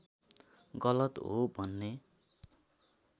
गलत हो भन्ने